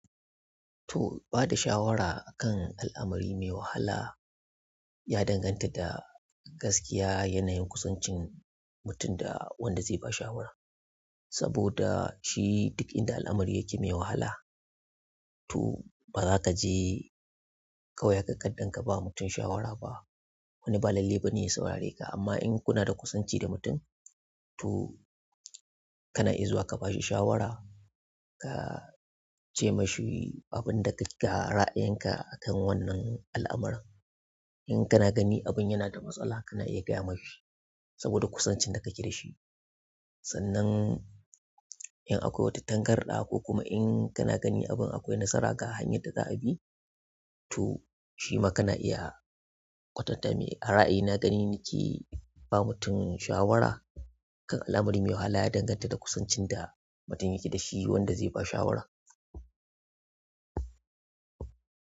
To, bada shawara a kan al'amari mai wahala ya danganta da gaskiya yanayin kusancin mutum da wanda zai ba shawara. Saboda shi duk inda al'amari yake mai wahala, to baza kaje kawai haka kardan kaba mutum shawara ba. Wani ba lalle bane ya saurare ka, amma in kuna da kusanci da mutum to kana iya zuwa ka bashi shawara, ka ce mashi abin da ka-, ga ra'ayin ka akan wannan al'amaran. In kana gani abin yana da matsala kana iya gaya mashi saboda kusancin da kake dashi. Sannan in akwai wata tangarɗa ko kuma in kana gani abin akwai nasara ga hanyar da za'a bi, to shima kana iya kwatanta mai, a ra'ayina gani nake ba mutum shawara kan al'amari mai wahala ya danganta da kusancin da mutum yake dashi wanda zai ba shawarar.